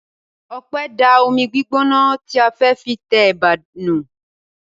Ọpẹ́ da omi gbígbóná tí a fẹ́ fi tẹ ẹ̀bà nù.